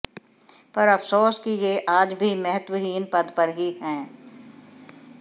पर अफ़सोस की ये आज भी महत्वहीन पद पर ही हैं